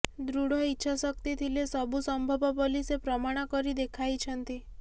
ଦୃଢ଼ ଇଛାଶକ୍ତି ଥିଲେ ସବୁ ସମ୍ଭବ ବୋଲି ସେ ପ୍ରମାଣ କରି ଦେଖାଇଛନ୍ତି